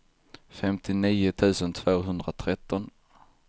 femtionio tusen tvåhundratretton